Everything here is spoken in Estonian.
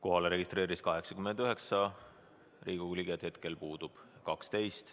Kohalolijaks registreerus 89 Riigikogu liiget, hetkel puudub 12.